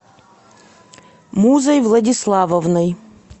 музой владиславовной